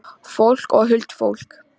Fólk og huldufólk.